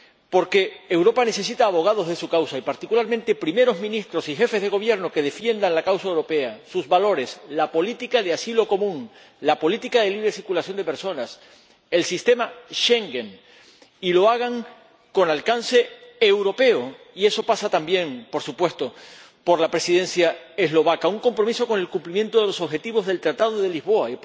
Porque Europa necesita abogados de su causa y, particularmente, primeros ministros y jefes de gobierno que defiendan la causa europea, sus valores, la política de asilo común, la política de libre circulación de personas, el sistema Schengen —y que lo hagan con alcance europeo y eso pasa también, por supuesto, por la Presidencia eslovaca— y un compromiso con el cumplimiento de los objetivos del Tratado de Lisboa.